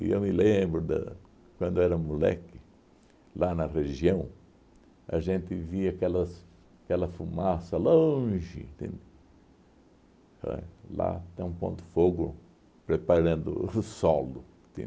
E eu me lembro da, quando eu era moleque, lá na região, a gente via aquelas aquela fumaça longe, entende? Olha, lá estão pondo fogo, preparando o solo.